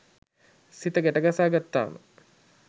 සිත ගැට ගසා ගත්තාම